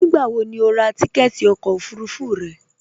Nígbàwò ní o rà tìkẹ̀tì ọkọ ofurufú rẹ?